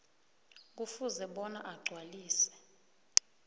kufuze bona agcwalise